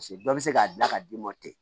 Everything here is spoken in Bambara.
Paseke bɛɛ bɛ se k'a dilan ka d'i ma ten